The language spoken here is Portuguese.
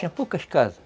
Tinha poucas casas.